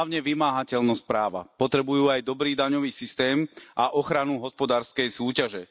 Hlavne vymáhateľnosť práva, potrebujú aj dobrý daňový systém a ochranu hospodárskej súťaže.